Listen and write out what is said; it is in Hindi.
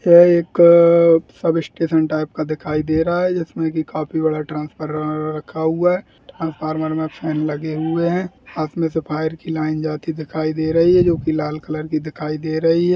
ये एक अअ सब स्टेशन टाइप का दिखाई दे रहा है जिसमें की काफी बड़ा ट्रांसफॉर्मर रखा हुआ है | ट्रांसफॉर्मर में फैन लगे हुए हैं | से फायर की लाइन जाती दिखाई दे रही है जोकि लाल कलर की दिखाई दे रही है।